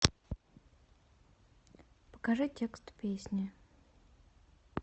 покажи текст песни